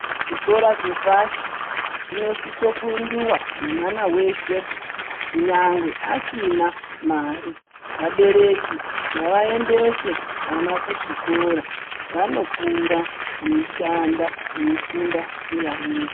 Chikora chepashi, chinosisokuindiwa nemwana weshe, kunyangwe asina mare. Vabereki ngavaendese vana kuzvikora. Vanokura veishanda veifunda nevamweni.